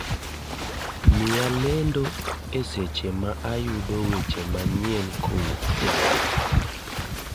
miya lendo eseche ma ayudo weche manyien kowuok java